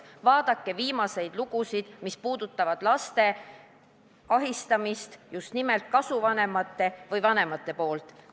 Vaadake viimaseid lugusid, mis räägivad laste ahistamisest just nimelt kasuvanemate või vanemate poolt!